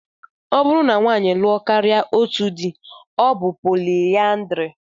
Ọ bụrụ na nwaanyị lụọ karịa otú dị, ọ bụ poliandrị